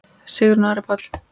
Sigrún og Ari Páll.